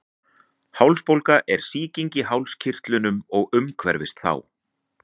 hálsbólga er sýking í hálskirtlum og umhverfis þá